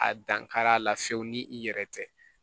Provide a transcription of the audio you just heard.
A dankar'a la fiyewu ni i yɛrɛ tɛ